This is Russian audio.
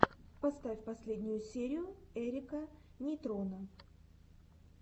поставь последнюю серию эрика нейтрона